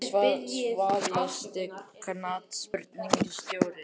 Hver er svalasti knattspyrnustjórinn?